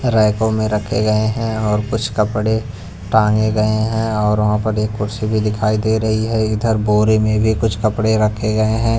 रैकों में रखे गए हैं और कुछ कपड़े टांगे गए हैं और वहां पर एक कुर्सी भी दिखाई दे रही है इधर बोरे में भी कुछ कपड़े रखे गए हैं।